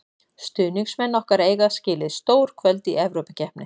Stuðningsmenn okkar eiga skilið stór kvöld í Evrópukeppni.